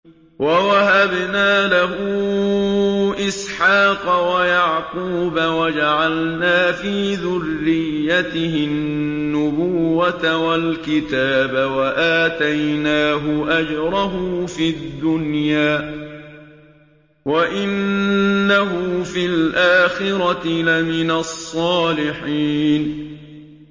وَوَهَبْنَا لَهُ إِسْحَاقَ وَيَعْقُوبَ وَجَعَلْنَا فِي ذُرِّيَّتِهِ النُّبُوَّةَ وَالْكِتَابَ وَآتَيْنَاهُ أَجْرَهُ فِي الدُّنْيَا ۖ وَإِنَّهُ فِي الْآخِرَةِ لَمِنَ الصَّالِحِينَ